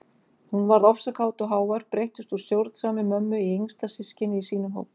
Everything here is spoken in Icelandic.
Hún varð ofsakát og hávær, breyttist úr stjórnsamri mömmu í yngsta systkinið í sínum hóp.